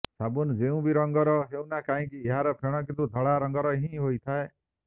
ସାବୁନ୍ ଯୋଉ ବି ରଙ୍ଗର ହେଉନା କାହିଁକି ଏହାର ଫେଣ କିନ୍ତୁ ଧଳା ରଙ୍ଗର ହିଁ ହୋଇଥାଏ